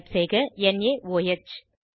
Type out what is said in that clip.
type செய்க Noah